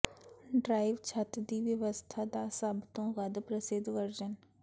ਡਰੀਵਾਲ ਛੱਤ ਦੀ ਵਿਵਸਥਾ ਦਾ ਸਭ ਤੋਂ ਵੱਧ ਪ੍ਰਸਿੱਧ ਵਰਜਨ